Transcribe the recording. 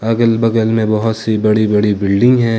अगल बगल में बहुत सी बड़ी बड़ी बिल्डिंग है।